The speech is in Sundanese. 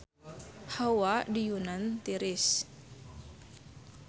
Hawa di Yunan tiris